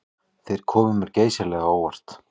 Þeir komu mér geysilega á óvart